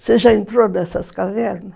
Você já entrou nessas cavernas?